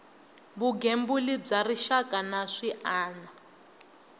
vugembuli bya rixaka na swiana